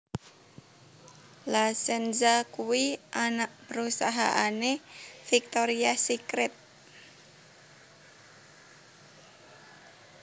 La Senza kuwi anak perusahaane Victoria's Secret